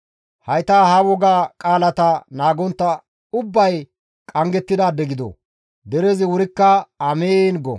«Hayta ha woga qaalata naagontta ubbay qanggettidaade gido!» Derezi wurikka, «Amiin!» go.